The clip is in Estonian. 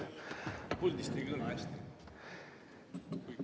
Puldist ei kõla hästi.